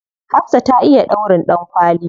Hafsah ta iya ɗaurin ɗankwali.